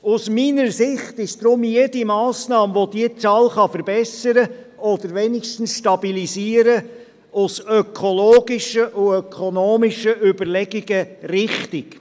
Aus meiner Sicht ist deshalb jede Massnahme, die diese Zahl verbessern oder wenigstens stabilisieren kann, aus ökologischen und ökonomischen Überlegungen richtig.